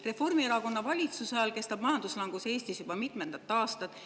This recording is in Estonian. Reformierakonna valitsuse ajal on majanduslangus Eestis kestnud juba mitmendat aastat.